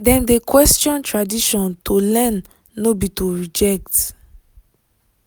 dem de question tradition to learn no be to reject.